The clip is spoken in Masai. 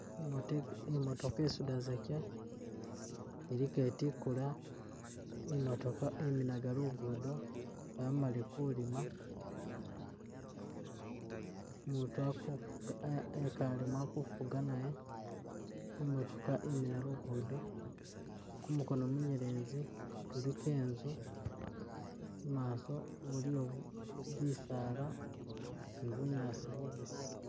imote imotooka isuda zekye ili ketikula, imotooka iminaga lugudo yamale kulima, umutu akufuga ekalemu akufuga naye imotooka iminaga lugudo, kumukono munyelezi kuliko enzu, mumaso buliyo bu bisaala ni bunyaasi bubisi